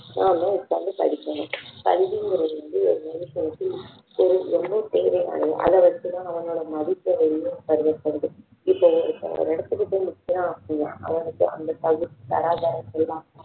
நாம உட்கார்ந்து படிக்கணும் கல்விங்குறது வந்து ஒரு மனுஷனுக்கு ஒரு ரொம்ப தேவையானது அதை வச்சு தான் அவனோட மதிப்பு உயரும்னு கருதப்படுது இப்போ ஒரு ஒரு இடத்துக்கு போய் நிக்குறான் அப்படின்னா அவனுக்கு அந்த தகுதி தராதரம் எல்லாம்